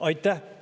Aitäh!